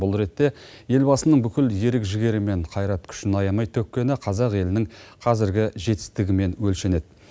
бұл ретте елбасының бүкіл ерік жігері мен қайрат күшін аямай төккені қазақ елінің қазіргі жетістігімен өлшенеді